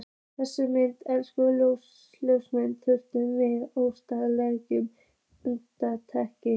Þessar myndir, einkum ljósmyndirnar, fylltu mig óumræðilegum dapurleika.